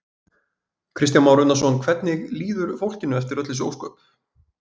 Kristján Már Unnarsson: Hvernig líður fólkinu eftir öll þessi ósköp?